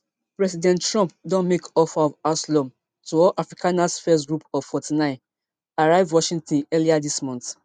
president trump don make offer of asylum to all afrikaners first group of forty-nine arrive washington earlier dis month